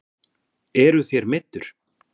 Eruð þér meiddur?